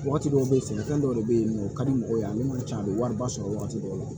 Waati dɔw be yen sɛnɛfɛn dɔw de be yen nɔ o ka di mɔgɔw ye ani wari ci a be wariba sɔrɔ wagati dɔw la